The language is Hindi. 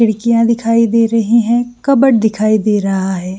खिड़कियाँ दिखाई दे रही है कबर्ड दिखाई दे रहा हैं।